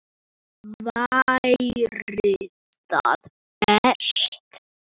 Væri það best?